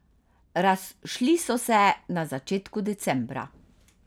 Razšli so se na začetku decembra.